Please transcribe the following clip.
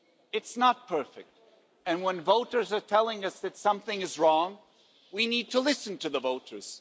It's not perfect, and when voters are telling us that something is wrong, we need to listen to the voters.